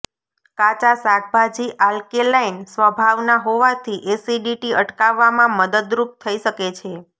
કાચા શાકભાજી આલ્કેલાઈન સ્વભાવના હોવાથી એસિડિટી અટકાવવામાં મદદરૂપ થઈ શકે છે